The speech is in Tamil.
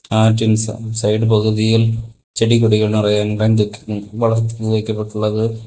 ஆற்றின் சை சைடு பகுதியில் செடி கொடிகள் நெறைய வளர்த்து வைக்கப்பட்டுள்ளது.